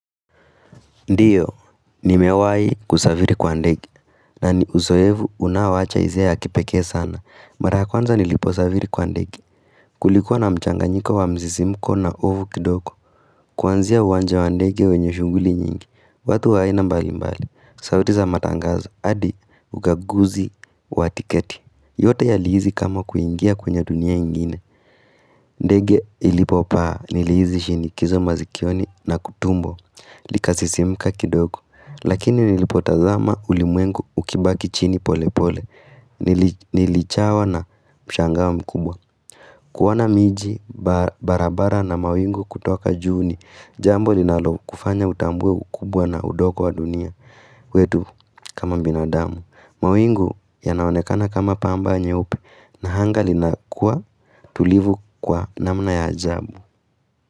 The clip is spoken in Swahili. Ndiyo, nimewai kusaviri kwa ndegi, na ni uzoevu unaowacha izia ya kipeke sana. Mara ya kwanza nilipo saviri kwa ndegi, kulikuwa na mchanganyiko wa mzisimko na ovu kidoko, kwanzia uwanja wa ndege wenye shunguli nyingi, watu waina mbali mbali, sauti za matangazo, adi ukaguzi wa tiketi, yote ya lihizi kama kuingia kwenye dunia ingine. Ndege ilipo paa, nilihizi shinikizo mazikioni na kutumbo, likasisimka kidoko, Lakini nilipotazama ulimwengu ukibaki chini pole pole Nilichawa na mshangao mkubwa kuoana miji barabara na mawingu kutoka juu ni Jambo linalokufanya utambue ukubwa na udoko wa dunia wetu kama binadamu mawingu yanaonekana kama pamba nyeupe na hanga linakua tulivu kwa namna ya ajabu.